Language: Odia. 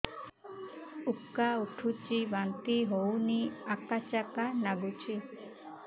ଉକା ଉଠୁଚି ବାନ୍ତି ହଉନି ଆକାଚାକା ନାଗୁଚି